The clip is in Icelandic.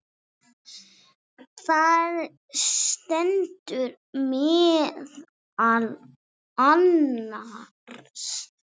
Þar stendur meðal annars